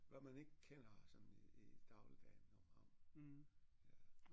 Hvad man ikke kender sådan i i dagligdagen om ham ja